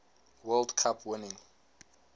world cup winning